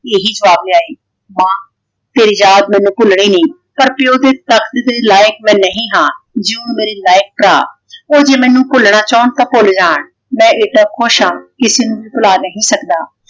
ਇਹੀ ਜਵਾਬ ਲਿਆਏ । ਮਾਂ ਤੇਰੀ ਯਾਦ ਮੈਨੂੰ ਭੁੱਲਣੀ ਨਹੀਂ। ਪਰ ਪਿਓ ਦੇ ਤਖ਼ਤ ਦੇ ਲਾਇਕ ਮੈਂ ਨਹੀਂ ਹਾਂ। ਜਿਉ ਮੇਰੇ ਲਾਇਕ ਭਰਾ। ਉਹ ਜੇ ਮੈਨੂੰ ਭੁੱਲਣਾ ਚਾਹੁੰਣ ਤਾਂ ਭੁੱਲ ਜਾਣ ।ਮੈਂ ਏਦਾਂ ਖੁਸ਼ ਹਾਂ ਕਿਸੇ ਨੂੰ ਭੀ ਭੁਲਾ ਨਹੀਂ ਸਕਦਾ।